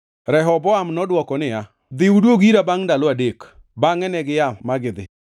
Rehoboam nodwoko niya, “Dhi uduog ira bangʼ ndalo adek.” Bangʼe negia ma gidhi.